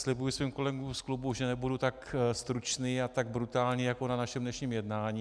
Slibuji svým kolegům z klubu, že nebudu tak stručný a tak brutální jako na našem dnešním jednání.